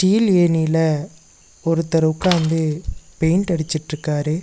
Eel ஏணில ஒருத்தர் உக்காந்து பெயிண்ட் அடிச்சிட்டுக்காரு.